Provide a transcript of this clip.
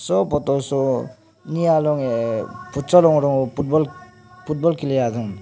hoh photo soh nee alon heh futsal ongrung football kili ya dong.